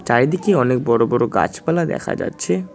চারিদিকে অনেক বড় বড় গাছপালা দেখা যাচ্ছে।